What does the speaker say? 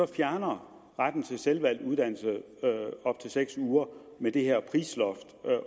fjerner retten til selvvalgt uddannelse i op til seks uger med det her prisloft